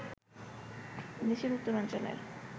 দেশের উত্তরাঞ্চলের